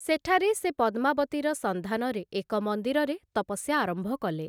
ସେଠାରେ ସେ 'ପଦ୍ମାବତୀ'ର ସନ୍ଧାନରେ ଏକ ମନ୍ଦିରରେ ତପସ୍ୟା ଆରମ୍ଭ କଲେ ।